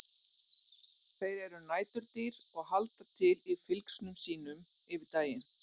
Þeir eru næturdýr og halda til í fylgsnum sínum yfir daginn.